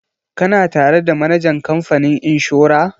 Kana tare da manajan kamfanin inshora?